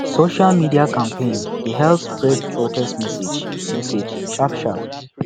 social media campaign dey help spread protest message message sharp sharp